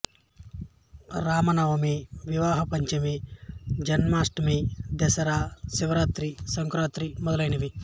రామ నవమి వివాహ పంచమి జన్మాష్టమి దసరా శివరాత్రి సంక్రాంతి ప్రధానమైనవి